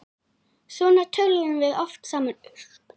Svona töluðum við oft saman.